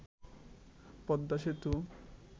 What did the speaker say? Padma Setu